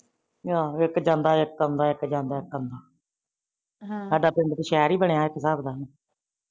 ਆਹ ਇੱਕ ਜਾਂਦਾ ਇੱਕ ਆਦਾ ਏ ਇਕ ਜਾਂਦਾ ਇਕ ਆਂਦਾ ਏ, ਹਮ ਸਾਡਾ ਪਿੰਡ ਤਾ ਸ਼ਹਿਰ ਹੀ ਬਣਿਆ ਇਕ ਹਿਸਾਬ ਦਾ